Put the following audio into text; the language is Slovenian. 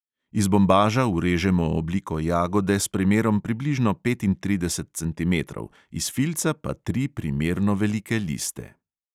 Iz bombaža urežemo obliko jagode s premerom približno petintrideset centimetrov, iz filca pa tri primerno velike liste.